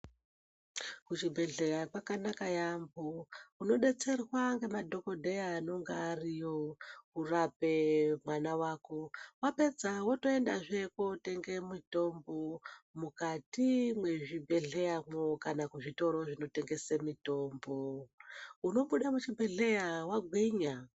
Kuzvibhedhlera kwakanaka yambo inodetserwa nemadhokodheya anonga ariyo kurape mwana wako wapedza wotoenda zve kunotenge mutombo mukati mezvibhedhlera mwo kana kuzvitoro zvinotengesa mitombo unobuda muchibhehleya wagwinya.